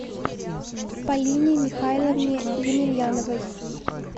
полине михайловне емельяновой